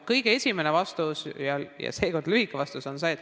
Kõige esimene vastus ja seekord lühikene vastus on see.